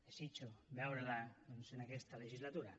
desitjo veure la doncs en aquesta legislatura